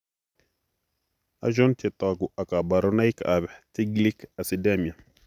Achon chetogu ak kaborunoik ab Tiglic acidemia?